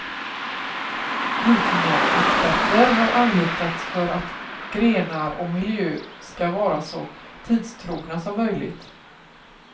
Vikingaexperter har anlitats för att grenar och miljö skall vara så tidstrogna som möjligt.